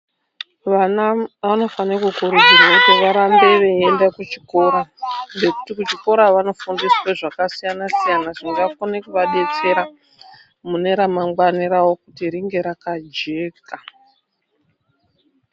Vana vanofanira kukurudzirwa kuti varambe veienda kuchikora. Nekuti kuchikora vanofundiswe zvakasiyana-siyana, zvinokone kuvabetsera mune remangwani ravo kuti ringe rakajeka.